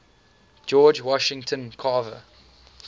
george washington carver